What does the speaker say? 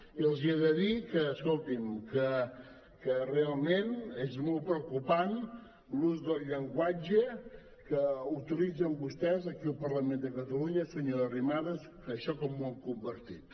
i els he de dir que escoltin realment és molt preocupant l’ús del llenguatge que utilitzen vostès aquí al parlament de catalunya senyora arrimadas això com ho han convertit